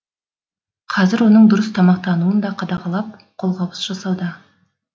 қазір оның дұрыс тамақтануын да қадағалап қолғабыс жасауда